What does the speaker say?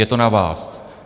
Je to na vás.